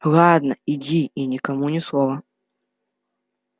ладно иди и никому ни слова